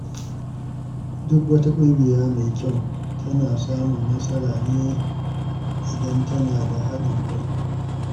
Duk wata ƙungiya mai kyau tana samun nasara ne idan tana da haɗin kai.